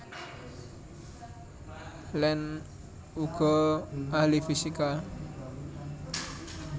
Land uga ahli fisika